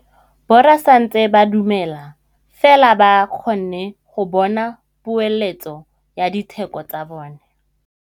Borra saense ba dumela fela fa ba kgonne go bona poeletsô ya diteko tsa bone.